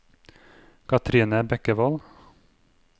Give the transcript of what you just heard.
Kathrine Bekkevold